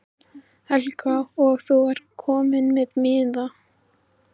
Helga: Og þú ert kominn með miða?